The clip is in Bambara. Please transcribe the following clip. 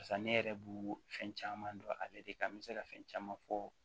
Barisa ne yɛrɛ b'u fɛn caman dɔn ale de kan n be se ka fɛn caman fɔ